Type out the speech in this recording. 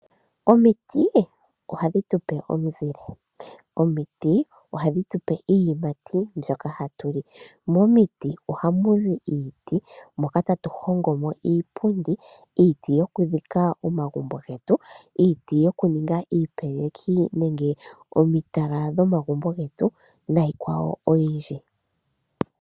Omiti oha dhi tupe omuzile. Omiti oha dhi tupe iiyimati mbyoka hatu li. Momiti oha mu zi iiti moka tatu hongo mo iipundi, iiti yoku dhika omagumbo getu, iiti yoku ninga iipeleki nenge omitala dho magumbo getu na iikwawo oyindji.